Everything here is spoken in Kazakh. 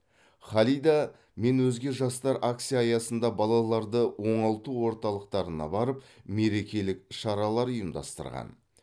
халида мен өзге жастар акция аясында балаларды оңалту орталықтарына барып мерекелік шаралар ұйымдастырған